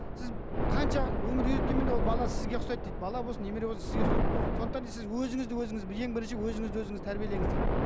сіз қанша өмір үйреткенмен де ол бала сізге ұқсайды дейді бала болсын немере болсын сізге ұқсайды сондықтан да сіз өзіңізді өзіңіз ең бірінші өзіңізді өзіңіз тәрбиелеңіз дейді